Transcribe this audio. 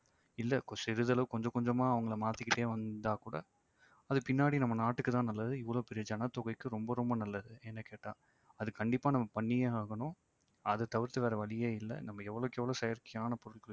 இல்ல சிறிதளவு கொஞ்ச கொஞ்சமா அவங்கள மாத்திகிட்டே வந்தாக்கூட அது பின்னாடி நம்ம நாட்டுக்கு தான் நல்லது இவ்வளோ பெரிய ஜனத்தொகைக்கு ரொம்ப ரொம்ப நல்லது என்ன கேட்டா. அது கண்டிப்பா நாம பண்ணியே ஆகணும் அது தவிர்த்து வேற வழியே இல்ல நம்ம எவ்வளவுக்கெவ்வளவு செயற்கையான பொருட்கள்